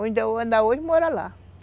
Ainda ainda hoje mora lá.